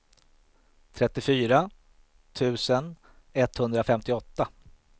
trettiofyra tusen etthundrafemtioåtta